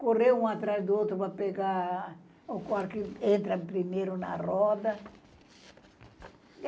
Correr um atrás do outro para pegar o quarto que entra primeiro na roda.